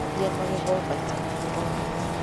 Gũthambia magego maita merĩ o mũthenya.